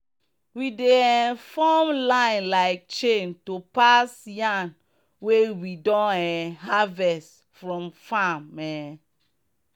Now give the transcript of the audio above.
we dey um form line like chain to pass yam wey we don um harvest from farm. um